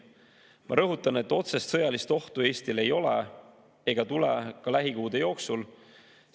Ma rõhutan, et otsest sõjalist ohtu Eestile ei ole ega tule ka lähikuude jooksul.